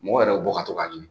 Mɔgɔ yɛrɛ be bɔ ka tɔ ka ɲini.